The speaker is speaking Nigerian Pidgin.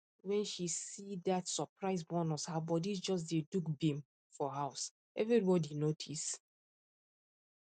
when she see that surprise bonus her body just dey do gbim for house everybody notice